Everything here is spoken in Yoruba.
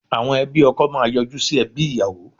Àwọn ẹbí ọkọ máa yọjú sí ẹbí ìyàwó